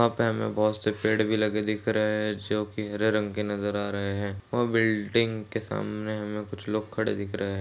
वहाँ पे हमे बहुत से पेड़ भी लगे दिख रहे है जो की हरे रंग के नज़र आ रहे है वह बिल्डिंग के सामने हमे कुछ लोग खड़े दिख रहे है।